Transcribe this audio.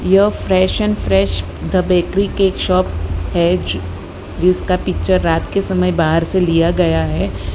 यह fresh n fresh the bakery cake shop है जिसका पिक्चर रात के समय बाहर से लिया गया है।